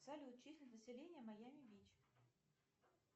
салют численность населения майами бич